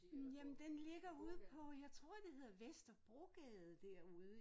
Hm jamen den ligger ude på jeg tror det hedder Vesterbrogade derude